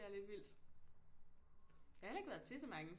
Er lidt vildt jeg har heller ikke været til så mange